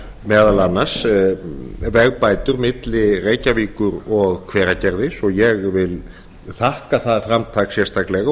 meðal annars vegabætur milli reykjavíkur og hveragerðis og ég vil þakka það framtak sérstaklega